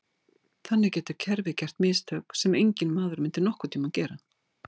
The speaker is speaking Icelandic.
þannig getur kerfið gert mistök sem enginn maður myndi nokkurn tíma gera